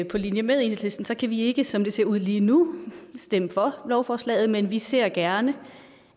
på linje med enhedslisten kan vi ikke som det ser ud lige nu stemme for lovforslaget men vi ser gerne